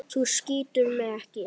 Þú skýtur mig ekki.